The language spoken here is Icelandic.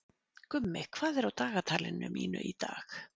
Gummi, hvað er á dagatalinu mínu í dag?